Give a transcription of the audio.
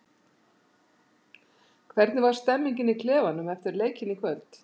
Hvernig var stemningin í klefanum eftir leikinn í kvöld?